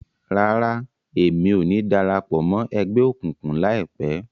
Rárá, Èmí o ni darapọ̀ mọ ẹgbẹ okunkun laipẹ